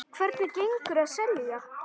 Hvernig gengur að selja?